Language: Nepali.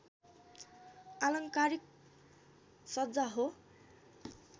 आलङ्कारिक सज्जा हो